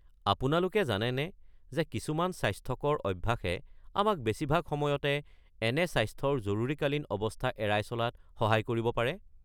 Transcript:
আপোনালোকে জানেনে যে কিছুমান স্বাস্থ্যকৰ অভ্যাসে আমাক বেছিভাগ সময়তে এনে স্বাস্থ্যৰ জৰুৰীকালীন অৱস্থা এৰাই চলাত সহায় কৰিব পাৰে?